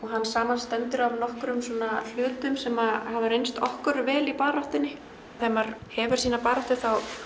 hann samanstendur af nokkrum hlutum sem hafa reynst okkur vel í baráttunni þegar maður hefur sína baráttu